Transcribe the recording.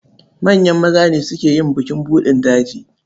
Manyan maza ne suke yin bukin buɗin daji.